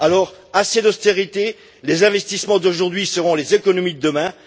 Alors, assez d'austérité, les investissements d'aujourd'hui seront les économies de demain!